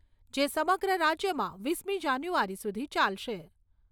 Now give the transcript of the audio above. જે સમગ્ર રાજ્યમાં વીસમી જાન્યુઆરી સુધી ચાલશે.